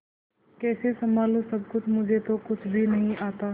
कैसे संभालू सब कुछ मुझे तो कुछ भी नहीं आता